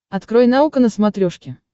открой наука на смотрешке